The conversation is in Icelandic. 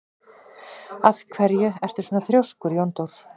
Af hverju ertu svona þrjóskur, Jóndór?